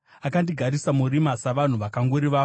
Akandigarisa murima savanhu vakafa kare kare.